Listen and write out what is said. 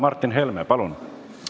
Martin Helme, palun!